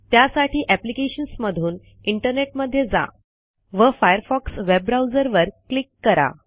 त्यासाठी अप्लिकेशन्समधून इंटरनेटमध्ये जा व फायरफॉक्स वेब ब्राऊझरवर क्लिक करा